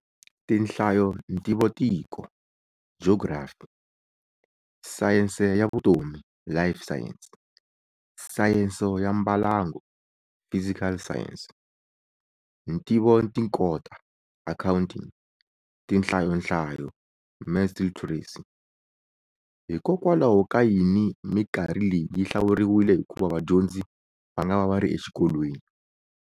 Tinhlayo Ntivotiko, Geography, Sayense ya Vutomi, Life Sciences, Sayense ya Mbalango, Physical Sciences, Ntivotinkota, Accounting, Tinhlayonhlayo, Maths Literacy. Hikokwalaho ka yini mikarhi leyi yi hlawuriwile hikuva vadyondzi va nga va va ri exikolweni?